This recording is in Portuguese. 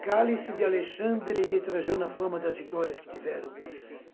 Cálice de Alexandre e de Trajano a fama das vitórias que tiveram.